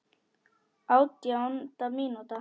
Átjánda mínúta.